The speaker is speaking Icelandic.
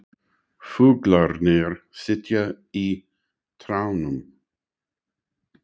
Fuglarnir sitja í trjánum.